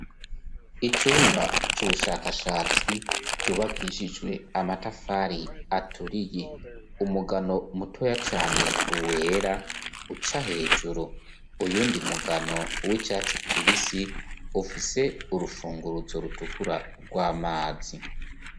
Icumba c'ubushakashatsi cubakishijwe amatafari aturiye umugano mutoya cane uwera uca hejuru uyundi mugano w'icatsi kibisi ufise urufungurruzo rutukura rw'amazi.